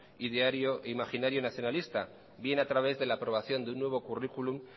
ideario e imaginario nacionalista bien a través de la aprobación de un nuevo currículum